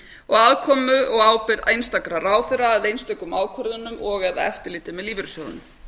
og aðkomu og ábyrgð einstakra ráðherra að einstökum ákvörðunum og eða eftirliti með lífeyrissjóðunum